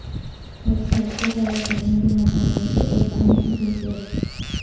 web site کو فروغ دینے کے متن میں سے ایک اہم خصوصیت